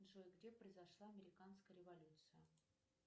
джой где произошла американская революция